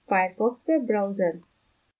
firefox web browser